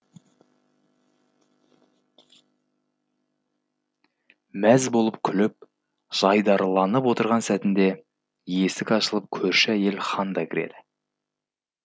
мәз болып күліп жайдарыланып отырған сәтінде есік ашылып көрші әйел ханда кіреді